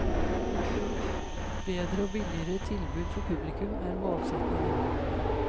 Bedre og billigere tilbud for publikum er målsetningen.